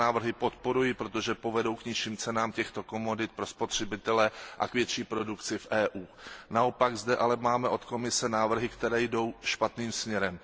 Tyto návrhy podporuji, protože povedou k nižším cenám těchto komodit pro spotřebitele a k větší produkci v Evropské unii. Naopak zde ale máme od Komise návrhy, které jdou špatným směrem.